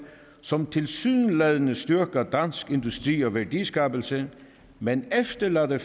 som tilsyneladende styrker dansk industri og værdiskabelse men efterlader